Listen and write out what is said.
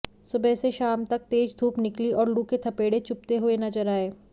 सुबह से शाम तक तेज धूप निकली और लू के थपेड़े चुभते हुए नजर आए